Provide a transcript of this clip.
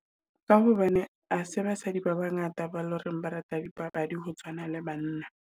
Ka hobane ha se basadi ba ba ngata ba loreng ba rata di papadi, ho tshwana le banna.